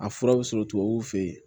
A fura bɛ sɔrɔ tubabuw fɛ yen